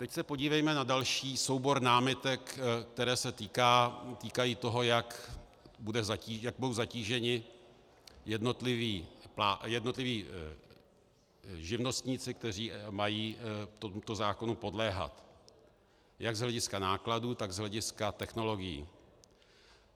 Teď se podívejme na další soubor námitek, které se týkají toho, jak budou zatíženi jednotliví živnostníci, kteří mají tomuto zákonu podléhat jak z hlediska nákladů, tak z hlediska technologií.